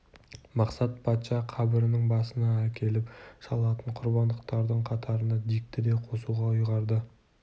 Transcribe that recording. мақсат патша қабірінің басына әкеліп шалатын құрбандықтардың қатарына дикті де қосуға ұйғарды